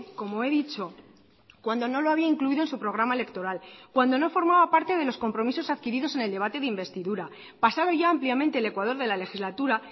como he dicho cuando no lo había incluido en su programa electoral cuando no formaba parte de los compromisos adquiridos en el debate de investidura pasado ya ampliamente el ecuador de la legislatura